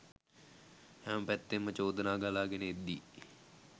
හැම පැත්තෙන්ම චෝදනා ගලා ගෙන එද්දී